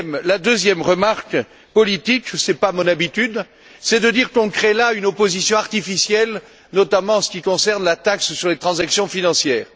La deuxième remarque politique ce n'est pas mon habitude c'est de dire que nous créons là une opposition artificielle, notamment en ce qui concerne la taxe sur les transactions financières.